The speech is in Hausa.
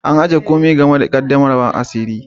An ajie komi game da qaddamarwan asiri.